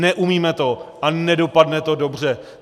Neumíme to a nedopadne to dobře.